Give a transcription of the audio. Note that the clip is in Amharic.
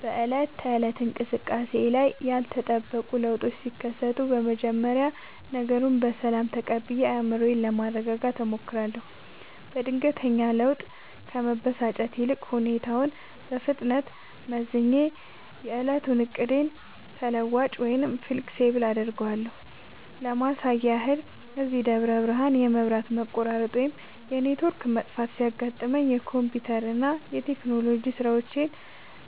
በዕለት ተዕለት እንቅስቃሴዬ ላይ ያልተጠበቁ ለውጦች ሲከሰቱ፣ መጀመሪያ ነገሩን በሰላም ተቀብዬ አእምሮዬን ለማረጋጋት እሞክራለሁ። በድንገተኛ ለውጥ ከመበሳጨት ይልቅ፣ ሁኔታውን በፍጥነት መዝኜ የዕለቱን ዕቅዴን ተለዋዋጭ (Flexible) አደርገዋለሁ። ለማሳያ ያህል፣ እዚህ ደብረ ብርሃን የመብራት መቆራረጥ ወይም የኔትወርክ መጥፋት ሲያጋጥመኝ፣ የኮምፒውተርና የቴክኖሎጂ ሥራዎቼን